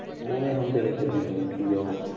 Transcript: ਉਹ ਨੇ ਹੁਣ ਬੇਚਾਰੇ ਕਿੰਨੇ ਮਿਹਨਤੀ ਉਹ